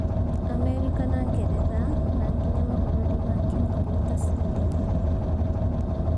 Amerika na Ngeretha, na nginya mabũrũri ma kĩũngnano ta Sweden